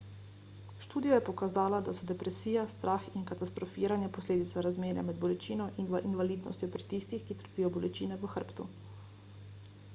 študija je pokazala da so depresija strah in katastrofiranje posledica razmerja med bolečino in invalidnostjo pri tistih ki trpijo bolečine v hrbtu